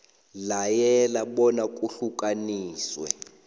layela bona kuhlukaniswe